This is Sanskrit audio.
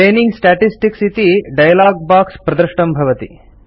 ट्रेनिंग स्टेटिस्टिक्स् इति डायलॉग बाक्स् प्रदृष्टं भवति